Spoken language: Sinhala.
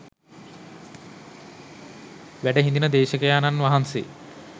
වැඩ හිඳින දේශකයාණන් වහන්සේ